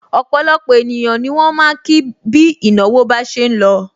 Opolopo ènìyàn ni wọn ma ki bi ìnáwó bá ṣe ń lọ.